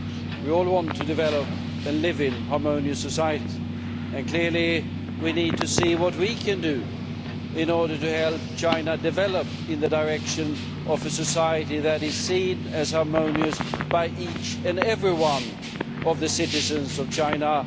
We all want to develop and live in harmonious societies and clearly we need to see what we can do in order to help China develop in the direction of a society that is seen as harmonious by each and every one of the citizens of China.